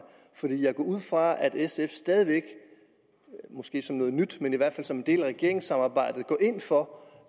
for jeg går ud fra at sf stadig væk måske som en del af regeringssamarbejdet går ind for